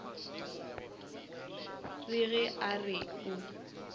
re ge a re o